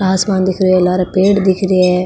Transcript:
आसमान दिखरो है लारे पेड़ दिखरो है।